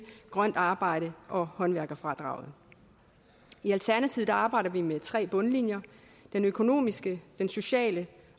grønt arbejde og håndværkerfradraget i alternativet arbejder vi med tre bundlinjer den økonomiske den sociale